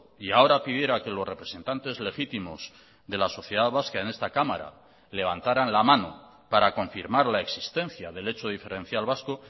y ahora pidiera que los representantes legítimos de la sociedad vasca en esta cámara levantarán la mano para confirmar la existencia del hecho diferencial vasco